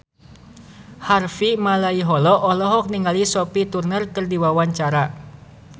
Harvey Malaiholo olohok ningali Sophie Turner keur diwawancara